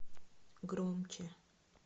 громче